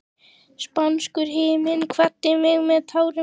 Spánskur himinn kvaddi mig með tárum.